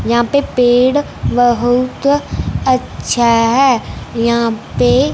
यहां पे पेड़ बहुत अच्छा है यहां पे--